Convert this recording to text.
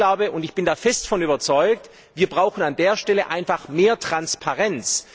Ich glaube und ich bin fest davon überzeugt wir brauchen an dieser Stelle einfach mehr Transparenz.